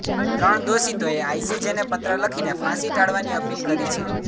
ત્રણ દોષિતોએ આઈસીજેને પત્ર લખીને ફાંસી ટાળવાની અપીલ કરી છે